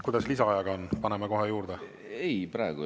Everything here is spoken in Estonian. Kuidas lisaajaga on, paneme kohe juurde?